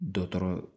Dɔtɔrɔ